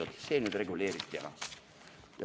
Ja nii see saigi nüüd reguleeritud.